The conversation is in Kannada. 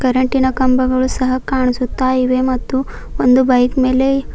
ಕರೆಂಟಿನ ಕಂಬಗಳು ಸಹ ಕಾಣಿಸುತ್ತಾ ಇವೆ ಮತ್ತು ಒಂದು ಬೈಕ್ ಮೇಲೆ--